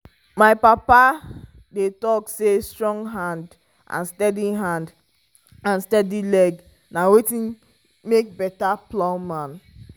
my papa dey talk say strong hand and steady hand and steady leg na wetin make better plowman.